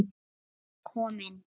Hún er komin